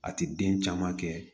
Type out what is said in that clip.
A ti den caman kɛ